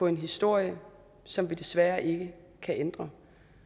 en historie som vi desværre ikke kan ændre